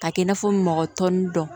Ka kɛ i n'a fɔ mɔgɔ tɔw nun dɔn